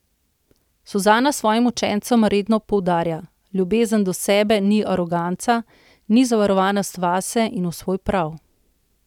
Suzana svojim učencem redno poudarja: 'Ljubezen do sebe ni aroganca, ni zaverovanost vase in v svoj prav.